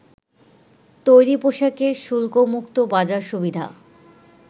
তৈরি পোশাকের শুল্কমুক্ত বাজার সুবিধা